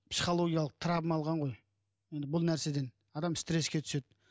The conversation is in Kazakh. психологиялық травма алған ғой енді бұл нәрседен адам стреске түседі